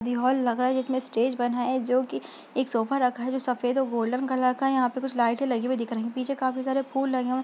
ये हॉल लग रहा जिसमें स्टेज बना है जोकि एक सोफा रखा है जो सफेद और गोल्डन कलर का है यहाँ पे कुछ लाइटे लगी हुई देख रही पीछे काफी सारे फूल लगे हुए --